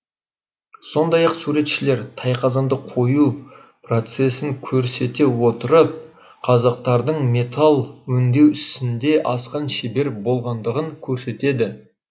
сондай ақ суретшілер тайқазанды құю процесін көрсете отырып қазақтардың металл өңдеу ісінде асқан шебер болғандығын көрсетеді